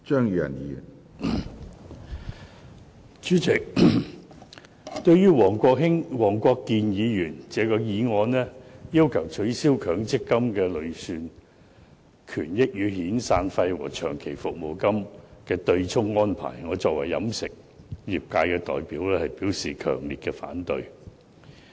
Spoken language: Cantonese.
主席，對於黃國健議員的議案，要求取消強制性公積金的累算權益與遣散費和長期服務金的對沖安排，我代表飲食業界表示強烈反對。